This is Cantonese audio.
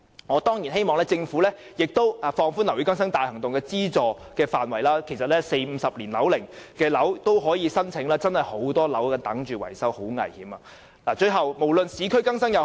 我當然希望政府可以放寬樓宇更新大行動的資助範圍，讓40至50年樓齡的樓宇也可以提出申請，因為現時真的有很多樓宇正在等待維修，樓宇的情況十分危險。